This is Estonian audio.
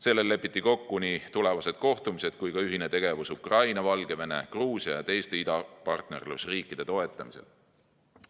Sellel lepiti kokku nii tulevased kohtumised kui ka ühine tegevus Ukraina, Valgevene, Gruusia ja teiste idapartnerlusriikide toetamisel.